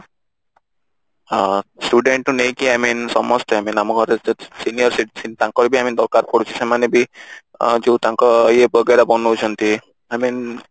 ହଁ student ଠୁ ନେଇକି I mean ଆମେ ସମସ୍ତଙ୍କ ପାଇଁ ଆମ ଗହରେ ଯୋଉ senior citizen ତାଙ୍କର ବି ଆମ ଦରକାର ପଡୁଛି ସେମାନେ ବି ଅ ଯୋଉ ତାଙ୍କ ଇଏ ବଗେରା ବନୋଉଛନ୍ତି I mean